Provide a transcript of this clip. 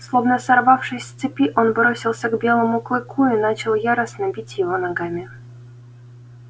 словно сорвавшись с цепи он бросился к белому клыку и начал яростно бить его ногами